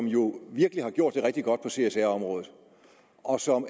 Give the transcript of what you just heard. jo virkelig gjort det rigtig godt på csr området og